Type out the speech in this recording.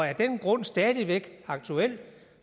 er den grund stadig aktuel